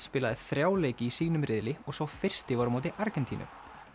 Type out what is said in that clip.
spilaði þrjá leiki í sínum riðli og sá fyrsti var á móti Argentínu